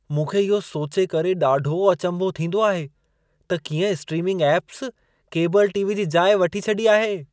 मूंखे इहो सोचे करे ॾाढो अचंभो थींदो आहे त कीअं स्ट्रीमिंग ऐप्स, केबल टी.वी जी जाइ वठी छॾी आहे।